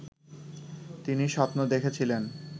তিনি স্বপ্ন দেখেছিলেন